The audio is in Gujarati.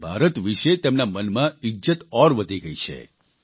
તેથી ભારત વિશે તેમના મનમાં ઇજ્જત ઔર વધી ગઇ છે